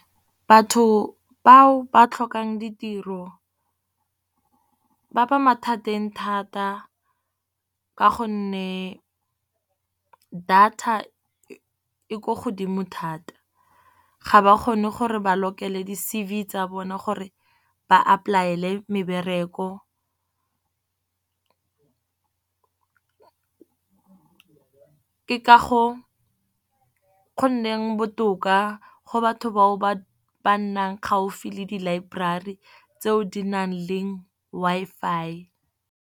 Batho bao ba tlhokang ditiro ba ba mathateng thata. Ka gonne data e ko godimo thata, ga ba kgone gore ba lokele di C_V tsa bone gore ba apply-ele mebereko. Ke ka go nneng botoka go batho bao ba ba nnang gaufi le di library-tseo di nang le Wi-Fi.